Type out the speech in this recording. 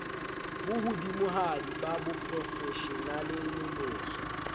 bo hodimohadi ba boprofeshenale nonoso